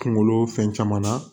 Kunkolo fɛn caman na